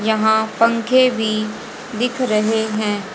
यहां पंखे भी दिख रहे हैं।